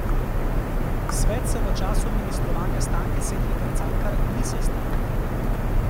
Svet se v času ministrovanja Stanke Setnikar Cankar ni sestal.